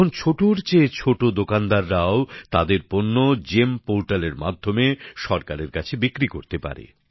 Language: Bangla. এখন ছোটোর চেয়ে ছোট দোকানদাররাও তাদের পণ্য জিইএম পোর্টালের মাধ্যমে সরকারের কাছে বিক্রি করতে পারে